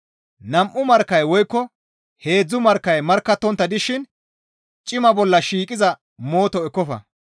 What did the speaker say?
Nam7u markkay woykko heedzdzu markkay markkattontta dishin cima bolla shiiqiza mooto ekkofa.